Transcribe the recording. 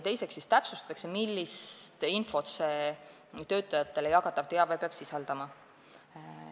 Teiseks täpsustatakse, millist infot see töötajatele jagatav teave peab sisaldama.